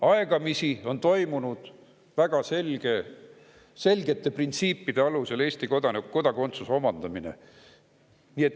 Aegamisi on toimunud väga selgete printsiipide alusel Eesti kodakondsuse omandamine.